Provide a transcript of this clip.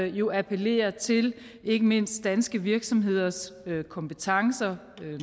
jo appellerer til ikke mindst danske virksomheders kompetencer